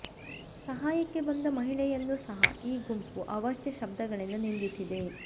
ಸಹಾಯಕ್ಕೆ ಬಂದ ಮಹಿಳೆಯನ್ನೂ ಸಹ ಈ ಗುಂಪು ಅವಾಚ್ಯ ಶಬ್ದಗಳಿಂದ ನಿಂದಿಸಿದೆ